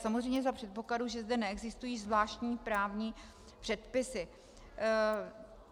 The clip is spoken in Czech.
Samozřejmě za předpokladu, že zde neexistují zvláštní právní předpisy.